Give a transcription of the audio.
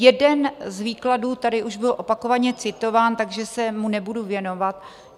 Jeden z výkladů tady už byl opakovaně citován, takže se mu nebudu věnovat.